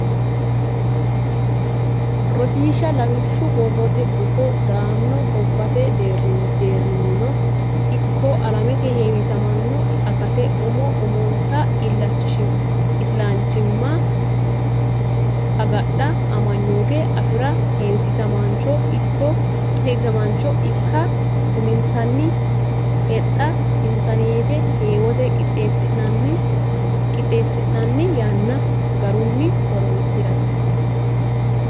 Rosiishsha Lawishshu Borrote Gufo Dodaano gobbate deerrinnino ikko alamete heewisamaano ikkate umo uminsa isilanchimma agadha amanyoote afi ra heewisamaancho ikka uminsanni hexxa insaneete heewote qixxeessanna yanna garunni horonsi rate.